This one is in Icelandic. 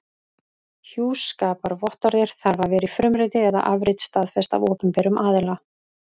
Hjúskaparvottorðið þarf að vera í frumriti eða afrit staðfest af opinberum aðila.